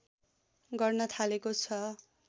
गर्न थालेको छ